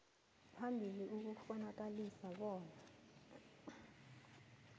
phambili ukukghonakalisa bona